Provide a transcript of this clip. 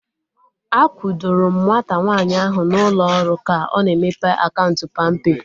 A kwudoro m nwata nwaanyị ahu na ụlọ ọrụ ka ọ na-emepe akaụntụ palmpay